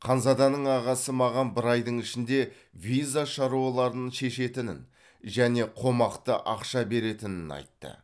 ханзаданың ағасы маған бір айдың ішінде виза шаруаларын шешетінін және қомақты ақша беретінін айтты